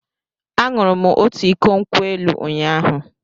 Aṅụrụ m otu iko nkwụ elụ ụnyahụ.